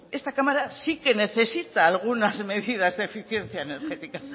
pues esta cámara sí que necesita algunas medidas de eficiencia energética